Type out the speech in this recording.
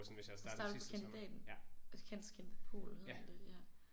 Og starte på kandidaten? Og cand.scient.pol hedder den det ja